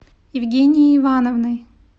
евгенией ивановной